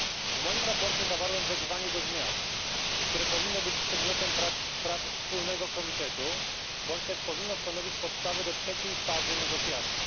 W moim sprawozdaniu zawarłem wezwanie do zmian, które powinno być przedmiotem prac wspólnego komitetu, bądź też powinno stanowić podstawę do trzeciej fazy negocjacji.